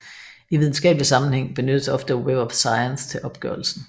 I videnskabelig sammenhæng benyttes ofte Web of Science til opgørelsen